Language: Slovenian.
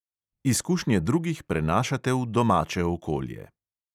Izkušnje drugih prenašate v domače okolje.